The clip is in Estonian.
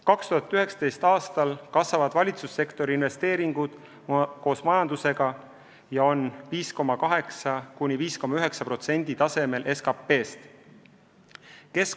2019. aastal kasvavad valitsussektori investeeringud koos majandusega ja on 5,8–5,9% tasemel SKP-st.